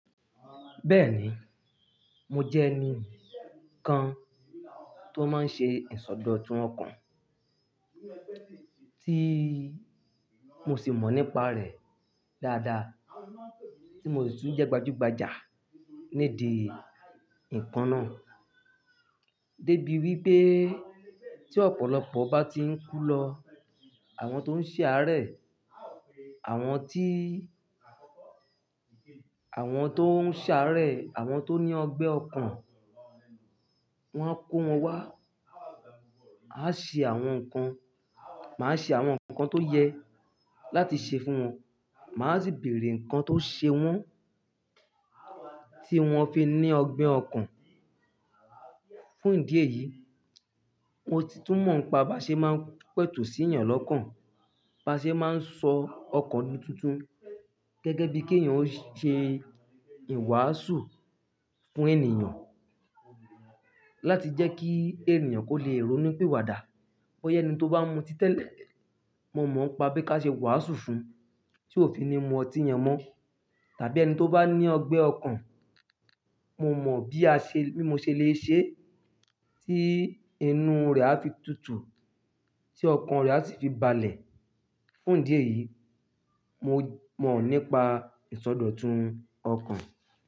Bẹ́ẹ̀ni, mo jẹ́ ẹni kan tó máa ń ṣe ìsọdọ̀tun ọkàn, tí mo sì mọ̀ nípa rẹ̀ dáadáa, tí mo sì tún jẹ́ gbajúgbajà nídi nkan náà. Débi wípé tí ọ̀pọ̀lọpọ̀ bá ti ń kú lọ, àwọn tó ń ṣàárẹ̀, àwọn tí, àwọn tó ń ṣàárẹ̀, àwọn tó ní ọgbẹ́ ọkàn, wón á kó wọn wá. A ṣe àwọn nǹkan, màá ṣe àwọn nǹkan tó yẹ láti ṣe fún wọn. Màá sì bèèrè nǹkan tó ṣe wọ́n tí wọ́n fi ní ọgbẹ́ ọkàn. Fún ìdí èyí, mo ti tún mọ̀ nípa baṣe máa ń pẹ̀tù sí yàn lọ́kàn. Baṣe máa ń sọ ọkàn di tuntun gẹ́gẹ́ bí kí ènìyàn ó ṣe ìwàásù fún ènìyàn láti jẹ́ kí ènìyàn kó lè rónu pi wà dà. Boya ení tó bá ń mutí tẹ́lẹ̀, mo mọ̀ nipa pé ká ṣe iwàásù fún un tí ó fi ní mú ọtí yẹn mọ́. Tàbí ẹni tó bá ní ọgbẹ́ ọkàn, mo mọ̀ bí a ṣe, bí mo ṣe le è ṣe ẹ́ tí inú rẹ̀ á fi tutù, tí ọkàn rẹ̀ á sì fi balẹ̀. Fún ìdí èyí, mo mọ̀ nípa ìsọdọ̀tun ọkàn.